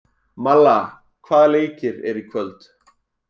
Malla, hvaða leikir eru í kvöld?